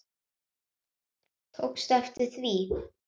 Tókstu eftir því?